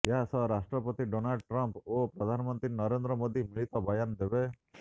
ଏହା ସହ ରାଷ୍ଟ୍ରପତି ଡୋନାଲ୍ଡ ଟ୍ରମ୍ଫ ଓ ପ୍ରଧାନମନ୍ତ୍ରୀ ନରେନ୍ଦ୍ର ମୋଦି ମିଳିତ ବୟାନ ଦେବେ